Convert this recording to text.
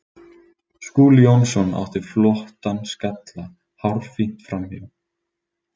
Skúli Jónsson átti flottan skalla hárfínt framhjá.